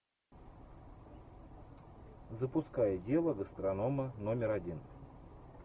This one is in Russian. запускай дело гастронома номер один